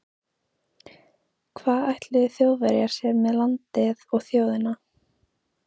Hvað ætluðu Þjóðverjar sér með landið og þjóðina?